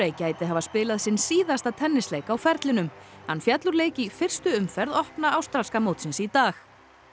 gæti hafa spilað sinn síðasta á ferlinum hann féll úr leik í fyrstu umferð opna ástralska í dag